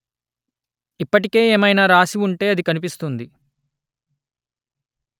ఇప్పటికే ఏమైనా రాసి ఉంటే అది కనిపిస్తుంది